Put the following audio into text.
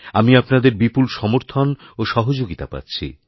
আমি আপনাদের বিপুল সমর্থন ওসহযোগিতা পাচ্ছি